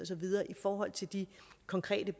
så videre i forhold til de konkrete